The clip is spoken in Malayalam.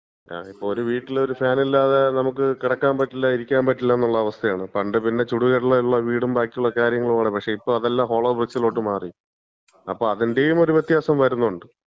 ഇപ്പം ഒരു വീട്ടില് ഫാനില്ലാതെ നമ്മക്ക് കെടക്കാൻ പറ്റില്ല, ഇരിക്കാൻ പറ്റില്ലന്നുള്ള അവസ്ഥയാണ്. പണ്ട് പിന്നെ ചുടുകട്ടയുള്ള വീടും ബാക്കിയുള്ള കാര്യങ്ങളുമാണ്. പക്ഷേ, ഇപ്പം അതല്ലാം ഹോളോബ്രിക്സിലോട്ട് മാറി. അപ്പോ അതിന്‍റേം ഒരു വ്യത്യാസം വരുന്നുണ്ട്.